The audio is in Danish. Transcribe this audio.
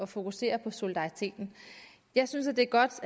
fokusere på solidariteten jeg synes det er godt